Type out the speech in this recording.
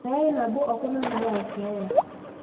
meetae nabo okuna nayau keeya.